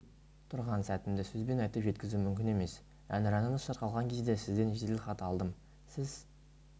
тұрған сәтімді сөзбен айтып жеткізу мүмкін емес әнұранымыз шырқалған кезде сізден жедел хат алдым сіз